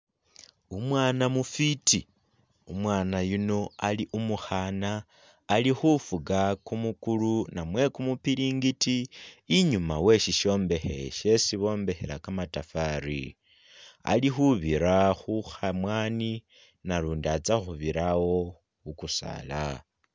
Umwana mufiti elah nga umwana yuuno Ali umukhana alikhufuka kumukulu namwe kumupilingiti inyuma weshishombekhe shesi bombekhela kamatafali, alikhubira khukhamwani nalundi atsakhubirawo khukusaala